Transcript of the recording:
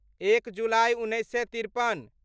एक जुलाइ उन्नैस सए तिरपन